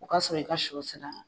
O ka sɔrɔ i ka shɔ sera.